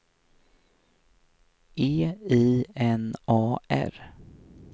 E I N A R